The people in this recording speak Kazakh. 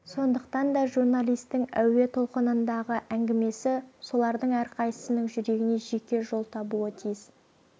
сондықтан да журналистің әуе толқынындағы әңгімесі солардың әрқайсысының жүрегіне жеке жол табуы тиіс